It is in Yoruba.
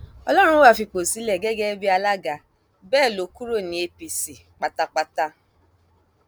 ọlọrunwá fipò sílẹ gẹgẹ bíi alága bẹẹ lọ kúrò ní apc pátápátá